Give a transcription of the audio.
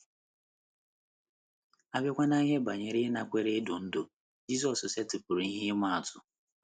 A bịakwa n’ihe banyere ịnakwere idu ndú, Jizọs setịpụrụ ihe ịma atụ.